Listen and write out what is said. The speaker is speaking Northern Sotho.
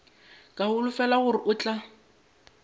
ke holofela gore o tla